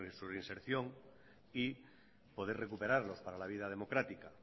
su reinserción y poder recuperarlos para la vida democrática